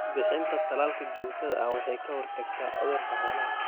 Bixinta tallaalka joogtada ah waxay ka hortagtaa cudurrada xoolaha.